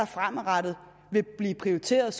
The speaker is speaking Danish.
fremadrettet vil blive prioriteret